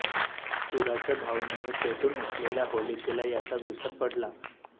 सूडाच्या भावनेने पेटून उठलेल्या होलिकेला याचा विसर पडला